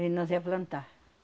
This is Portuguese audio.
E nós ia plantar.